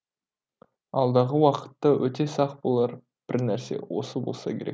алдағы уақытта өте сақ болар бір нәрсе осы болса керек